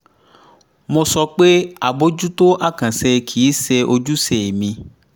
mo sọ pé àbójútó àkànṣe kì í ṣe ojúṣe mi